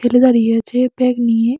ছেলে দাঁড়িয়ে আছে ব্যাগ নিয়ে।